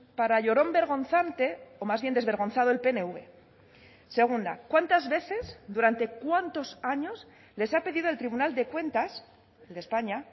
para llorón vergonzante o más bien desvergonzado el pnv segunda cuántas veces durante cuántos años les ha pedido el tribunal de cuentas de españa